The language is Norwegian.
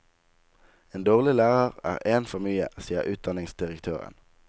En dårlig lærer er én for mye, sier utdanningsdirektøren.